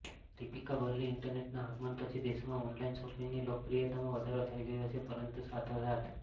દીપિકા બર્લી ઇન્ટરનેટના આગમન પછી દેશમાં ઓનલાઈન શોપિંગની લોકપ્રિયતામાં વધારો થઈ ગયો છે પરંતુ સાથોસાથ